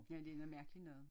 Ja det noget mærkeligt noget